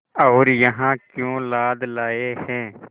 और यहाँ क्यों लाद लाए हैं